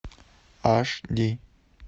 аш ди